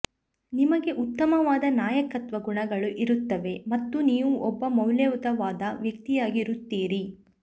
ನಿಮಗೆ ಉತ್ತಮವಾದ ನಾಯಕತ್ವ ಗುಣಗಳು ಇರುತ್ತವೆ ಮತ್ತು ನೀವು ಒಬ್ಬ ಮೌಲ್ಯಯುತವಾದ ವ್ಯಕ್ತಿಯಾಗಿರುತ್ತೀರಿ